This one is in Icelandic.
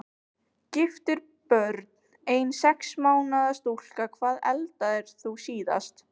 Giftur Börn: Ein sex mánaða stúlka Hvað eldaðir þú síðast?